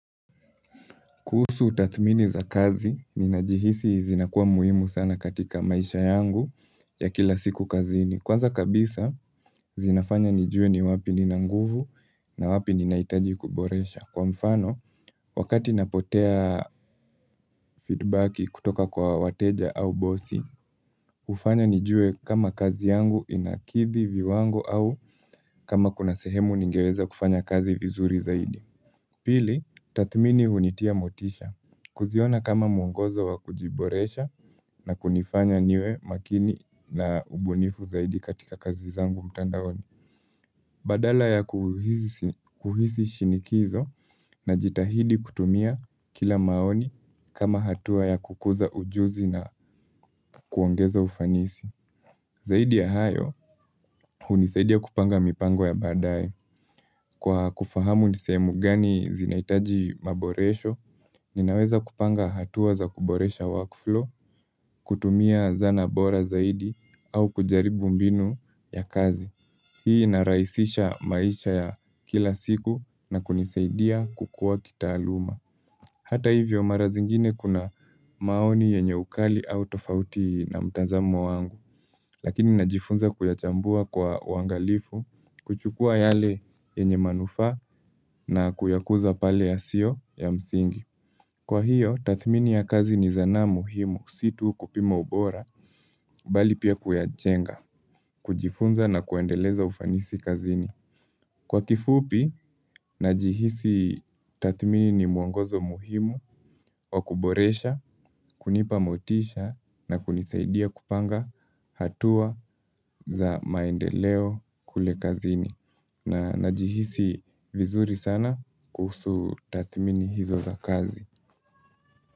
Kuhusu tathmini za kazi, ninajihisi zinakuwa muhimu sana katika maisha yangu ya kila siku kazini. Kwanza kabisa, zinafanya nijue ni wapi nina nguvu na wapi ninahitaji kuboresha. Kwa mfano, wakati napotea feedbacki kutoka kwa wateja au bosi, hufanya nijue kama kazi yangu inakithi viwango au kama kuna sehemu ningeweza kufanya kazi vizuri zaidi. Pili, tathmini hunitia motisha. Kuziona kama muongozo wa kujiboresha na kunifanya niwe makini na ubunifu zaidi katika kazi zangu mtandaoni. Badala ya kuhisi kuhisi shinikizo najitahidi kutumia kila maoni kama hatua ya kukuza ujuzi na kuongeza ufanisi. Zaidi ya hayo, hunisaidia kupanga mipango ya badae. Kwa kufahamu ni sehemu gani zinahitaji maboresho, ninaweza kupanga hatua za kuboresha workflow, kutumia zana bora zaidi, au kujaribu mbinu ya kazi. Hii inarahisisha maisha ya kila siku na kunisaidia kukua kitaaluma. Hata hivyo mara zingine kuna maoni yenye ukali au tofauti na mtazamo wangu Lakini najifunza kuyachambua kwa uangalifu kuchukua yale yenye manufaa na kuyakuza pale yasio ya msingi. Kwa hiyo, tathmini ya kazi ni zanaa muhimu, si tu kupima ubora, bali pia kuyajenga, kujifunza na kuendeleza ufanisi kazini. Kwa kifupi, najihisi tathmini ni muongozo muhimu wa kuboresha, kunipa motisha na kunisaidia kupanga hatua za maendeleo kule kazini. Na najihisi vizuri sana kuhusu tathmini hizo za kazi.